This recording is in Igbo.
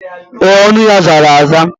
Ee, ọnụ ya zara aza.